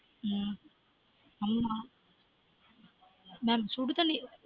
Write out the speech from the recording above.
உம் ஆமா நான் சுடு தண்ணில